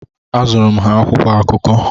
Azụụrụ m ha akwụkwọ akụkọ.